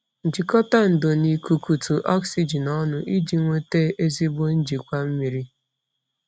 Jikọta ndò na ikukutu oxygen ọnụ iji nweta ezigbo njikwa mmiri.